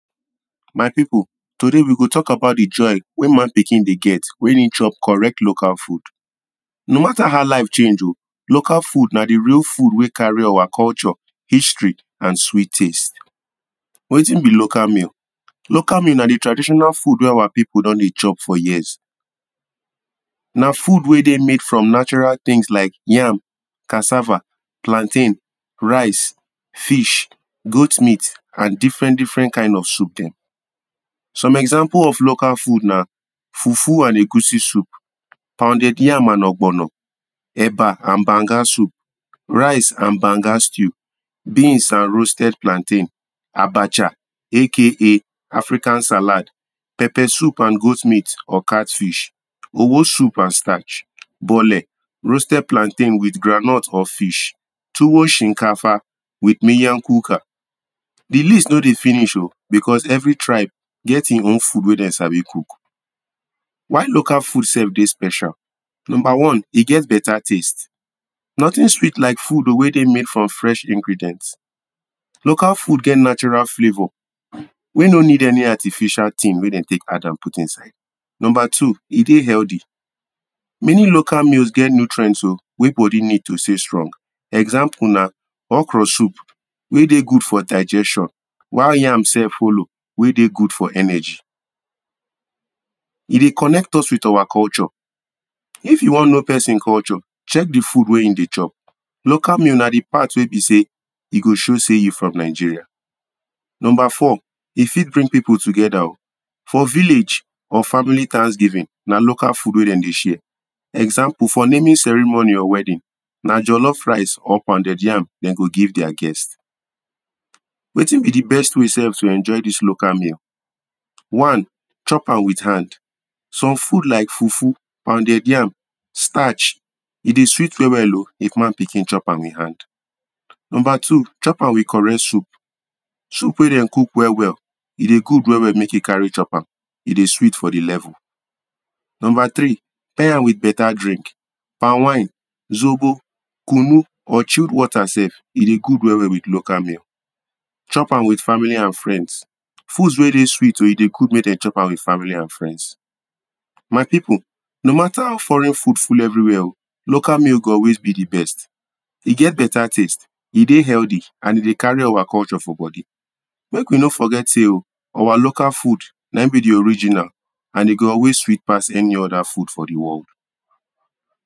My pipul, today we go talk about de joy wey man pikin dey get when e chop correct local food. No matter how life change.o local food na de real food wey carry our culture, history and sweet taste. Wetin be local meal? Local meal na de traditional food wey our pipul don dey chop for years. Na food wey dey made from natural tins like yam, cassava, plantain, rice, fish, goat meat and difren difren kind of soup den. Some exampul of local food na Fufu and Egusi soup, Pounded yam and ogbono, Eba and Banga soup, Rice and Banga stew, Beans and Roasted plantain, Abacha aka African salad, Pepper soup and goat meat or catfish, Owo soup and starch, Bole; roasted plantain with groundnut or fish, Tuwo shinkafa with Minyakuka. De list no dey finish.o, becos every tribe get e own food wey dem sabi cook. Why local food sef dey special? Number one, e get beta taste: Notin sweet like food wey dey made from fresh ingredient. Local food get natural flavour wey no need any artificial tin wey dem take add am put inside. Number two, e dey healthy: Many local food get nutrients.o wey bodi need to stay strong, exampul na okro soup wey dey good for digestion while yam sef follow wey dey good for energy. E de connect us with our culture. If you wan know pesin culture, check de food wey e dey chop. Local meal na de part wey be sey e go show sey you from Nigeria. Number four, e fit bring pipul togeda.o. For village or family thanksgiving na local food wey dem dey share. Exampul for naming ceremony or wedding na jellof rice or pounded yam dem go give dia guest. Wetin be de best way sef to enjoy dis local meal? One, chop am with hand. Some food like fufu or pounded yam, starch e dey sweet well well if man pikin chop am with hand. Number two, chop am with correct soup. Soup wey den cook well well, e dey good well well make you carry chop am, e dey sweet for de level. Number tri, tye am with beta drink, palm wine, zobo, kunu, or chilled water sef e dey good well well with local meal. Chop am with family and friends. Foods wey dey sweet.o e dey good make dem chop am with family and friends. My pipul, no matter how foreign food full everywia.o local meal go always be de best. E get beta taste, e dey healthy and e dey carry our culture for body. Make we no forget sey.o, our local food na e be de original and e go always sweet pass any oda food for de world.